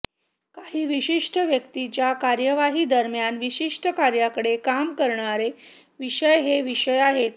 काही विशिष्ट व्यक्तीच्या कार्यवाही दरम्यान विशिष्ट कार्यांकडे काम करणारे विषय हे विषय आहेत